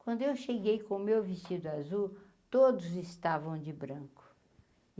Quando eu cheguei com o meu vestido azul, todos estavam de branco.